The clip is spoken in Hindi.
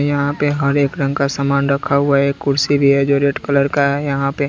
यहां पे हर एक रंग का सामान रखा हुआ है एक कुर्सी भी है जो रेड कलर का है यहां पे।